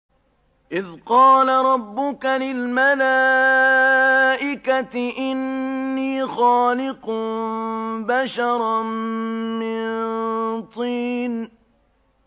إِذْ قَالَ رَبُّكَ لِلْمَلَائِكَةِ إِنِّي خَالِقٌ بَشَرًا مِّن طِينٍ